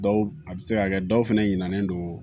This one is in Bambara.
Dɔw a bɛ se ka kɛ dɔw fɛnɛ ɲinalen don